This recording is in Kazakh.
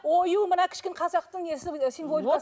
ою мына кішкене қазақтың несі символикасы